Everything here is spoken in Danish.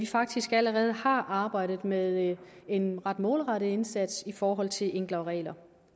faktisk allerede har arbejdet med en ret målrettet indsats i forhold til enklere regler